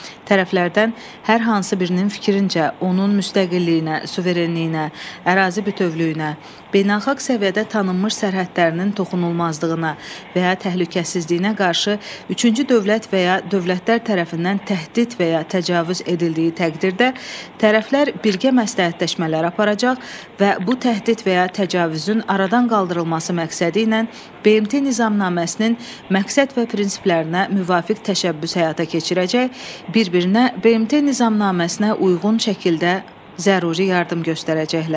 Tərəflərdən hər hansı birinin fikrincə, onun müstəqilliyinə, suverenliyinə, ərazi bütövlüyünə, beynəlxalq səviyyədə tanınmış sərhədlərinin toxunulmazlığına və ya təhlükəsizliyinə qarşı üçüncü dövlət və ya dövlətlər tərəfindən təhdid və ya təcavüz edildiyi təqdirdə, tərəflər birgə məsləhətləşmələr aparacaq və bu təhdid və ya təcavüzün aradan qaldırılması məqsədi ilə BMT Nizamnaməsinin məqsəd və prinsiplərinə müvafiq təşəbbüs həyata keçirəcək, bir-birinə BMT Nizamnaməsinə uyğun şəkildə zəruri yardım göstərəcəklər.